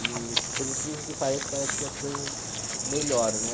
E por incrível que pareça, parece que as coisas melhoram, né?